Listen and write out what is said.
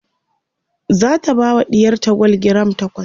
zata bawa ɗiyarta gwal giram takwas